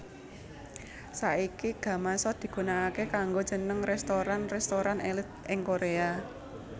Saiki gamasot digunakaké kanggo jeneng restoran restoran èlit ing Korea